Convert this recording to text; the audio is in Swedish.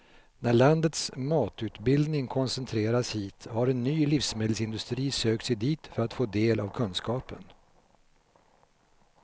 När landets matutbildning koncentrerats hit har en ny livsmedelsindustri sökt sig dit för att få del av kunskapen.